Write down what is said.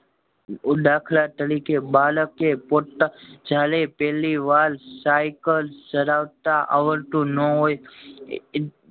દાખલા તરીકે બાળકે પોતા જયારે પેલી વાર સાયકલ ચલાવતા આવડતું નો હોય એ એ